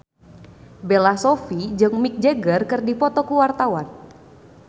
Bella Shofie jeung Mick Jagger keur dipoto ku wartawan